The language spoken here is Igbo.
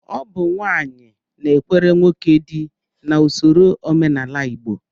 Ọ bụ nwaanyị na-ekwere nwoke dị n'usoro omenala Igbo